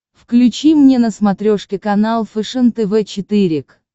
включи мне на смотрешке канал фэшен тв четыре к